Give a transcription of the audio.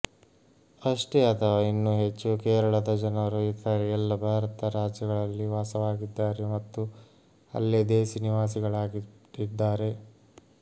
ಅಷ್ಟೇ ಅಥವಾ ಇನ್ನೂ ಹೆಚ್ಚು ಕೇರಳದ ಜನರು ಇತರೆ ಎಲ್ಲ ಭಾರತ ರಾಜ್ಯಗಳಲ್ಲಿ ವಾಸವಾಗಿದ್ದಾರೆ ಮತ್ತು ಅಲ್ಲೇ ದೇಸೀ ನಿವಾಸಿಗಳಾಗಿಬಿಟ್ಟಿದ್ದಾರೆ